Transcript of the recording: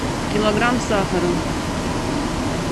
килограмм сахара